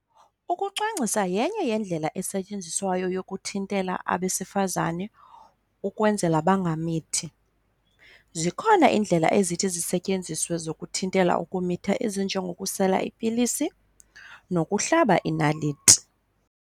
Ukucwangcisa yenye yendlela esetyenziswayo yokuthintela abesifazane ukwenzela bangamithi. Zikhona iindlela ezithi zisetyenziswe zokuthintela ukumitha ezinjengokusela ipilisi nokuhlaba inaliti.